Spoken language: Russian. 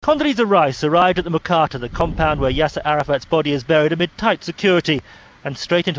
андрей обратно командой авторов и спорят а теперь ей предстоит